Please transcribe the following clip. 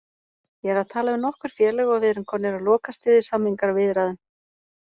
Ég er að tala við nokkur félög og við erum komnir á lokastig í samningaviðræðum.